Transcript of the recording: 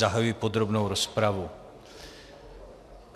Zahajuji podrobnou rozpravu.